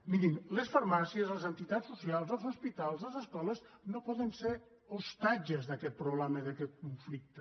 mirin les farmàcies les entitats socials els hospitals les escoles no poden ser ostatges d’aquest problema i d’aquest conflicte